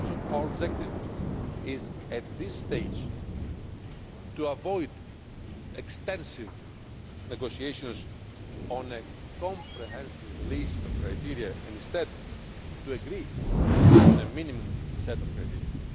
Our objective at this stage is to avoid extensive negotiations on a comprehensive list of criteria and instead to agree on a minimum set of criteria.